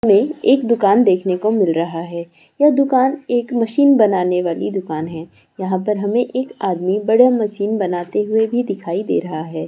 में एक दुकान देखने को मिल रहा है यह दुकान एक मशीन बनाने वाली दुकान है यहां पर हमे एक आदमी हमें बड़ा मशीन बनाते हुए भी दिखाई दे रहा हैं।